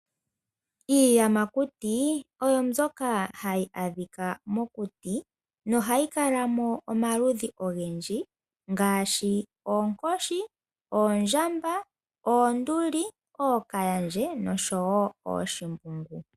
Iiyamakuti oyo mbyoka hayi adhika mokuti nohayi kala mo omaludhi ogendji ngaashi oonkoshi, oondjamba , oonduli, ookaandje noshowo ooshimbungu.